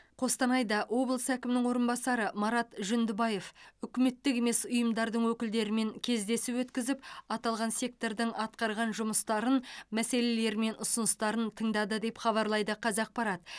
қостанайда облыс әкімінің орынбасары марат жүндібаев үкіметтік емес ұйымдардың өкілдерімен кездесу өткізіп аталған сектордың атқарған жұмыстарын мәселелері мен ұсыныстарын тыңдады деп хабарлайды қазақпарат